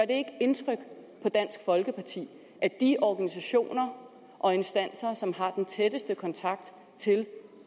det ikke indtryk på dansk folkeparti at de organisationer og instanser som har den tætteste kontakt til